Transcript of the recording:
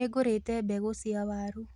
Nĩngũrĩte mbegũ cia waru